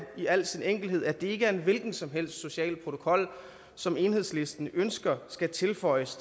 i al sin enkelhed at det ikke er en hvilken som helst social protokol som enhedslisten ønsker skal tilføjes